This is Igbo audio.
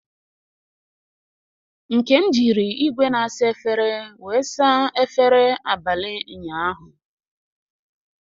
Nkem jiri igwe na-asa efere wee saa efere abalị ụnyaahụ.